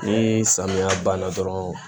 Ni samiya banna dɔrɔn